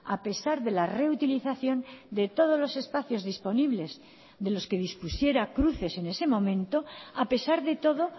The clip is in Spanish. a pesar de la reutilización de todos los espacios disponibles de los que dispusiera cruces en ese momento a pesar de todo